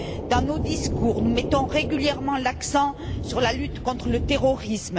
Dans nos discours, nous mettons régulièrement l'accent sur la lutte contre le terrorisme.